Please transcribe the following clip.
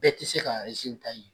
Bɛɛ ti se k'a ye.